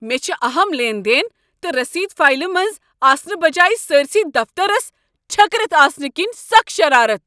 مےٚ چھ اہم لین دین تہٕ رسیدٕ فایلہِ منز آسنہٕ بجایہ سٲرِسٕے دفتترس چھٔکرتھ آسنہٕ كِنۍ سخ شرارتھ۔